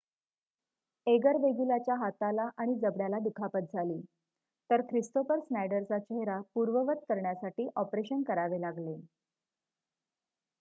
eager वेगुलाच्या हाताला आणि जबड्याला दुखापत झाली तर ख्रिस्तोफर स्नायडरचा चेहरा पूर्ववत करण्यासाठी ऑपरेशन करावे लागले